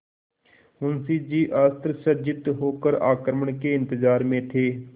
मुंशी जी अस्त्रसज्जित होकर आक्रमण के इंतजार में थे